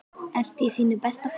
Ertu í þínu besta formi?